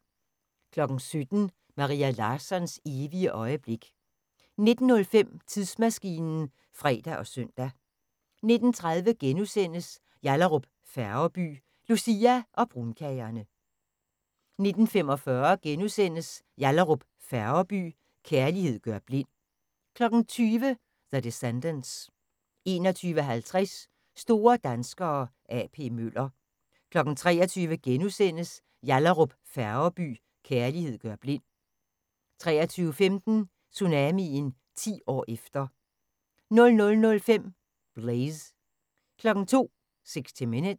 17:00: Maria Larssons evige øjeblik 19:05: Tidsmaskinen (fre og søn) 19:30: Yallahrup Færgeby: Lucia og brunkagerne * 19:45: Yallahrup Færgeby: Kærlighed gør blind * 20:00: The Descendants 21:50: Store danskere – A.P. Møller 23:00: Yallahrup Færgeby: Kærlighed gør blind * 23:15: Tsunamien – 10 år efter 00:05: Blaze 02:00: 60 Minutes